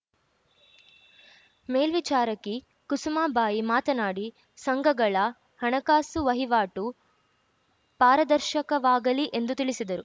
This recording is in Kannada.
ಮೇಲ್ವಿಚಾರಕಿ ಕುಸುಮಾಬಾಯಿ ಮಾತನಾಡಿ ಸಂಘಗಳ ಹಣಕಾಸು ವಹಿವಾಟು ಪಾರದರ್ಶಕವಾಗಲಿ ಎಂದು ತಿಳಿಸಿದರು